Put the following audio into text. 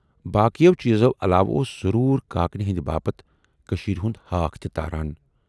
باقٮ۪و چیٖزو علاوٕ اوس ضروٗر کاکنہِ ہٕندِ باپتھ کٔشیٖرِ ہُند ہاکھ تہِ تاران۔